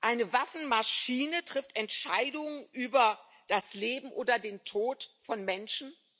Eine Waffenmaschine trifft Entscheidungen über das Leben oder den Tod von Menschen?